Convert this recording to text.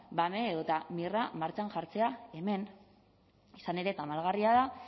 bame edota mir a martxan jartzea hemen izan ere tamalgarria da